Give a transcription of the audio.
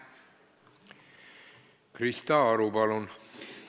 Krista Aru, palun!